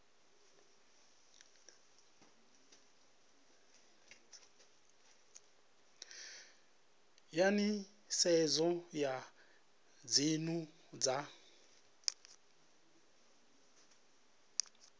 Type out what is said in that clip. ya nisedzo ya dzinnu dza